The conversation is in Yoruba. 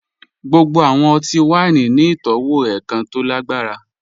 Gbogbo awọn ọtí-wàíní ni itọwo èkàn tó lágbarà.